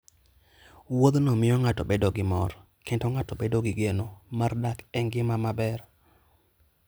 Wuodhno miyo ng'ato bedo gi mor, kendo ng'ato bedo gi geno mar dak e ngima maber.